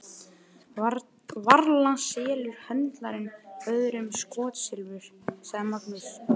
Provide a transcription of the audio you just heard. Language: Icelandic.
Varla selur höndlarinn öðrum skotsilfur, sagði Magnús.